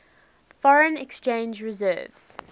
foreign exchange reserves